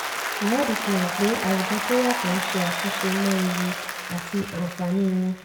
ìwádìí fi hàn pé àwùjọ tó yàtọ̀ ń ṣe àtúnṣe mọ ewu àti àǹfààní wọn.